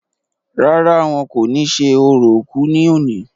rárá, wọn kò ní ṣe orò òkú ní òní